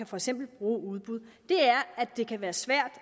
for eksempel kan bruge udbud er at det kan være svært